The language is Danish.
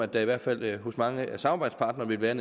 der i hvert fald hos mange af samarbejdspartnerne vil være